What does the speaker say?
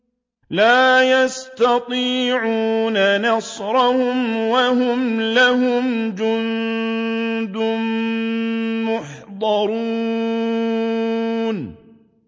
لَا يَسْتَطِيعُونَ نَصْرَهُمْ وَهُمْ لَهُمْ جُندٌ مُّحْضَرُونَ